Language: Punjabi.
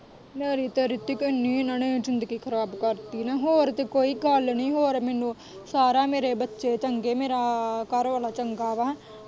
ਮੇਰੀ ਤੇ ਰਿਤਿਕ ਇੰਨੀ ਇਹਨਾਂ ਨੇ ਜ਼ਿੰਦਗੀ ਖਰਾਬ ਕਰਤੀ ਨਾ, ਹੋਰ ਤੇ ਕੋਈ ਗੱਲ ਨੀ ਹੋਰ ਮੈਨੂੰ ਸਾਰਾ ਮੇਰੇ ਬੱਚੇ ਚੰਗੇ ਮੇਰਾ ਘਰਵਾਲਾ ਚੰਗਾ ਵਾਂ।